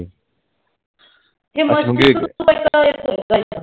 आणि मग